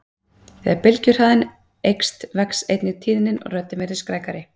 Þegar bylgjuhraðinn eykst vex einnig tíðnin og röddin verður skrækari.